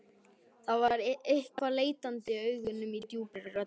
Það var eitthvað leitandi í augunum, í djúpri röddinni.